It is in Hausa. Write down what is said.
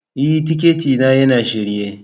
E, tikiti na yana shirye.